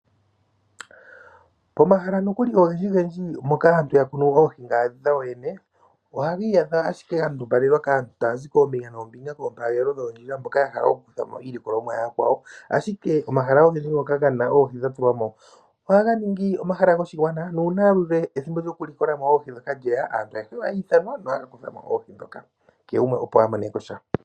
Pomahala nokuli ogendji gendji moka aantu ya kunu oohi dhawo yoyene. Ohagi iyadha ga ndumbalelwa kaantu taya zi koombinga noombinga pompagelelo dhoondjila mboka ya hala oku kuthamo iilikolomwa ya yakwawo. Ashike omahala ogendji ngoka gaana oohi dha tulwamo ohaga ningi goshigwana nu una ethimbo lyoku likola mo oohi dhoka lyeya aantu ayehe ohay ithanwa. Kehe gumwe a moneko sha.